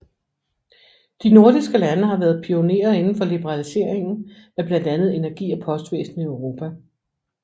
De nordiske lande har været pionerer inden for liberaliseringen af blandt andet energi og postvæsen i Europa